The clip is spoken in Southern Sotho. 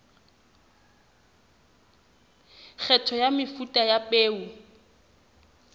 kgetho ya mefuta ya peo